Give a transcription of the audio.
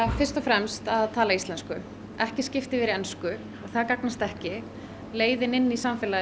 fyrst og fremst að tala íslensku ekki skipta yfir í ensku það gagnast ekki leiðin inn í samfélagið